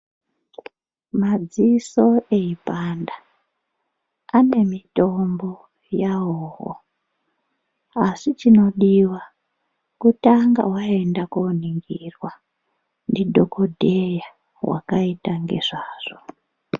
Madziso eipanda ane mitombo yawoo asi chinodiwa kutanga waenda koningirwa ndidhokodheya wakaita ngezvazvo.